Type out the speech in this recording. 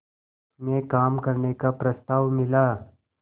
में काम करने का प्रस्ताव मिला